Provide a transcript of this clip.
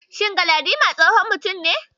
Shin Galadiman tsohon mutum ne?